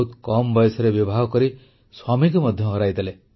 ବହୁତ କମ୍ ବୟସରେ ବିବାହ କରି ସ୍ୱାମୀଙ୍କୁ ମଧ୍ୟ ହରାଇଦେଲେ